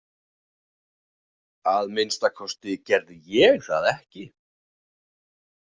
Að minnsta kosti gerði ég það ekki.